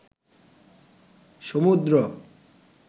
সমুদ্র